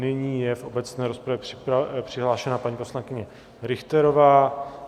Nyní je v obecné rozpravě přihlášená paní poslankyně Richterová.